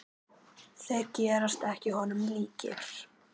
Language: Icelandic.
Þeir gerast ekki honum líkir.